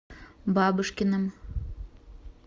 бабушкиным